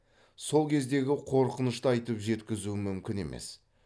сол кездегі қорқынышты айтып жеткізу мүмкін емес